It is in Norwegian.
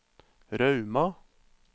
Rauma